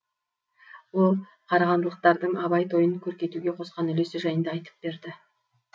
ол қарағандылықтардың абай тойын көркейтуге қосқан үлесі жайында айтып берді